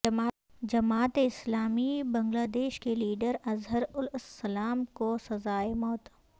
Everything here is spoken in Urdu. جماعت اسلامی بنگلہ دیش کے لیڈر اظہر الاسلام کو سزائے موت